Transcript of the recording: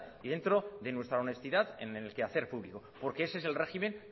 y dentro de nuestra honestidad en el quehacer público porque ese es el régimen